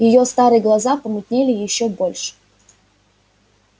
её старые глаза помутнели ещё больше